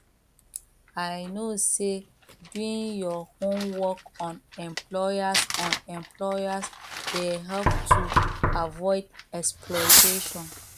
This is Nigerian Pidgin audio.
i know say doing your homework on employers on employers dey help to avoid exploitation